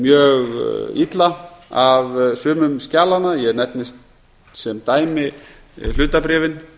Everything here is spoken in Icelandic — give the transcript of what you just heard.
illa ýmsar tekjur af sumum skjalanna ég nefni sem dæmi hlutabréfin